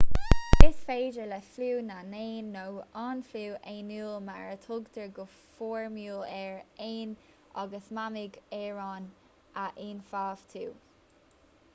is féidir le fliú na n-éan nó an fliú éanúil mar a thugtar go foirmiúil air éin agus mamaigh araon a ionfhabhtú